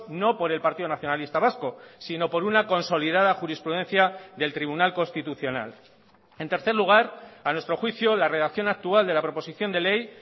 no por el partido nacionalista vasco sino por una consolidada jurisprudencia del tribunal constitucional en tercer lugar a nuestro juicio la redacción actual de la proposición de ley